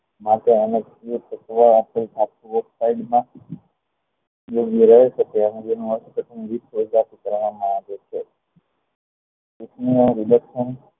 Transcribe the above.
માટે એને પ્રક્રિયા કરવા માં આવે છે ટૂંક માં રીડેક્ષણ